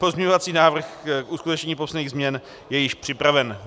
Pozměňovací návrh k uskutečnění potřebných změn je již připraven.